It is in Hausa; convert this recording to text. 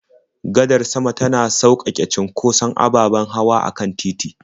Gadar sama tana sauƙaƙe cunkoson ababen hawa a kan titi.